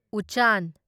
ꯎꯆꯥꯟ